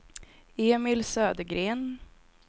Emil Södergren